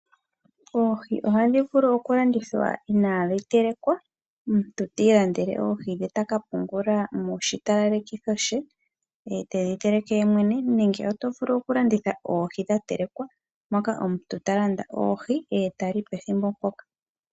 Oohi ohadhi vulu oku landithwa inaadhi telekwa, omuntu ta i landele oohi dhe taka pungula moshitalalekitho she, ye tedhi teleke yemwene nenge oto vulu oku landitha dha telekwa moka omuntu ta landa oohi ye tali pethimbo mpoka.